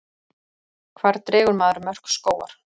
hvar dregur maður mörk skógar